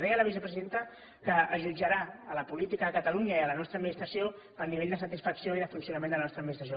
deia la vicepresidenta que es jutjarà la política a catalunya i la nostra administració pel nivell de satisfacció i de funcionament de la nostra administració